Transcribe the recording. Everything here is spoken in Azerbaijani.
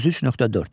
33.4.